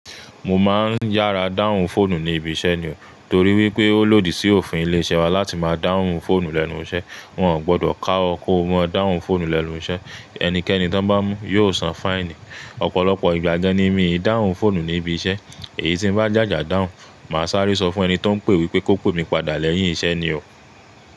Mo máa ń yára dáhùn fóònù ní ibi iṣẹ́ ni o, torí wípé ó lòdì sí òfin ilé-iṣẹ́ wa láti máa dáhùn fóònù lẹ́nu iṣẹ́. Wọn ò gbọdọ̀ ká ọ kó mú dáhùn fóònù lẹ́nu iṣẹ́, ẹnikẹ́ni ti won bá mú yóò san fáìnì. Ọ̀pọ̀lọpọ̀ ìgbà gan ni mií dáhùn fóònù ní ibi iṣẹ́, èyí tí ń bá jàjà dáhùn, màá sáré sọ fún ẹni tí ó ń pè wípé kó pè mí padà lẹ́yìn iṣẹ́ ni o.